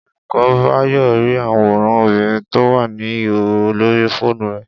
Olùkó̩ Báyò̩ rí àwòràn obìnrin tó wà ní ìhòhò lórí fóònù rè̩